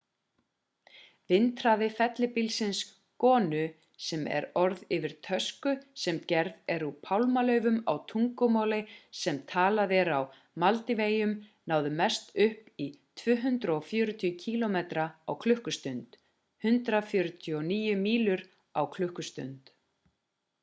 vindhraði fellibylsins gonu sem er orð yfir tösku sem gerð er úr pálmalaufum á tungumáli sem talað er á maldíveyjum náði mest upp í 240 kílómetra á klukkustund 149 mílur á klukkustund